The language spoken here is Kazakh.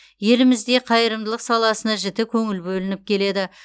елімізде қайырымдылық саласына жіті көңіл бөлініп келеді